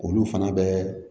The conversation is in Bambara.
Olu fana bɛ